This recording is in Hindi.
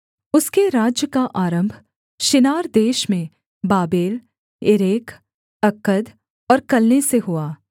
उसके राज्य का आरम्भ शिनार देश में बाबेल एरेख अक्कद और कलने से हुआ